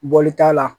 Bɔli t'a la